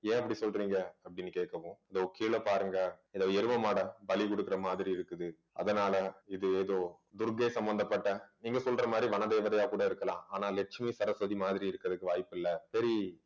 ஏன் அப்படி சொல்றீங்க அப்படின்னு கேட்க கேக்கும் இதோ கீழே பாருங்க இதோ எருமை மாடை பலி கொடுக்கிற மாதிரி இருக்குது அதனாலே இது ஏதோ துர்க்கை சம்பந்தப்பட்ட நீங்க சொல்ற மாதிரி வனதேவதையா கூட இருக்கலாம் ஆனா லட்சுமி சரஸ்வதி மாதிரி இருக்குறதுக்கு வாய்ப்பு இல்லை சரி